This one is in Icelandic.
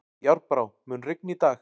Járnbrá, mun rigna í dag?